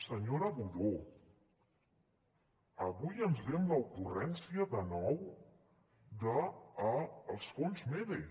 senyora budó avui ens ve amb l’ocurrència de nou dels fons mede